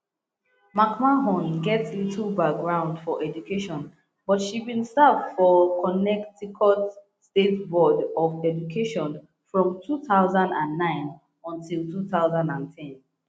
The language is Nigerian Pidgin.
mcmahon get little background for education but she bin serve for connecticut state board of education from two thousand and nine until two thousand and ten